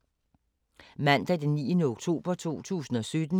Mandag d. 9. oktober 2017